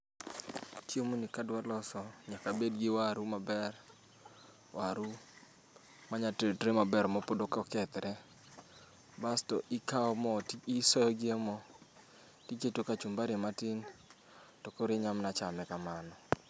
Chiemoni kadwa loso nyaka abed gi waru maber, waru manya tedre maber mapod ok okethre. Basto ikawo mo isoyogi emo to iketo kachumbari matin to koro inyalo mana chame kamano.